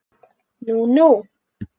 Nú nú.